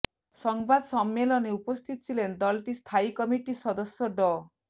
সংবাদ সম্মেলনে উপস্থিত ছিলেন দলটির স্থায়ী কমিটির সদস্য ড